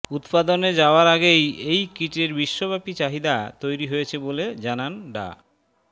উৎপাদনে যাওয়ার আগেই এই কিটের বিশ্বব্যাপী চাহিদা তৈরি হয়েছে বলে জানান ডা